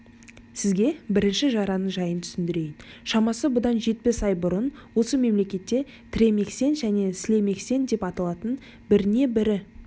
сізге бірінші жараның жайын түсіндірейін шамасы бұдан жетпіс ай бұрын осы мемлекетте тремексен және слемексен деп аталған біріне-бірі